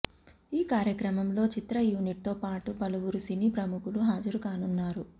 ఈ కార్యక్రమంలో చిత్ర యూనిట్ తో పాటు పలువురు సినీ ప్రముఖులు హాజరుకానున్నారు